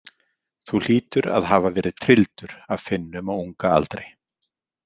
Þú hlýtur að hafa verið trylldur af Finnum á unga aldri.